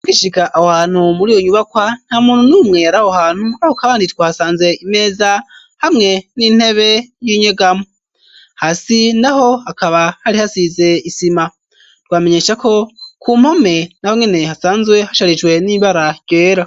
Gishika aho hantu muri yo nyubakwa nta muntu niumweyara aho hantu aho kabanditwe hasanze imeza hamwe n'intebe y'inyegamo hasi na ho hakaba hari hasize isima twamenyesha ko ku mpome na ho ngene hasanzwe hasharijwe n'imbara ryera.